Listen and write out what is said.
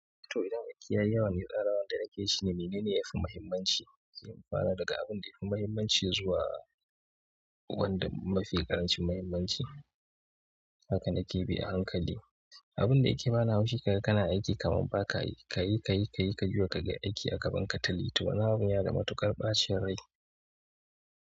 To idan aiki, yayi yawa mai tsarawa da nake shi ne menene yafi mahimmanci, sai ku fara daga abun da yafi mahimmanci zuwa wanda mafi ƙarancin mahimmanci. Haka nake bi a hankali. Abun da yake bani haushi kaga kana aiki kaman ba ka yi ka yi ka yi ka yi ka juya kaga aiki a gaban ka tali. To wannan abun yana da matuƙar ɓacin rai.